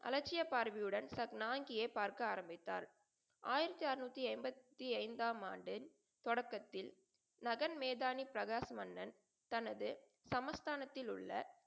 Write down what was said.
அலட்சிய பார்வையுடன் சப்னான்கியை பார்க்க ஆரம்பித்தார். ஆயிரத்தி அறநூத்தி எண்பத்தி ஐந்தாம் ஆண்டின் தொடக்கத்தில் நகன்மேதானி பிரகாஷ் மன்னன், தனது சமஸ்தானத்தில் உள்ள,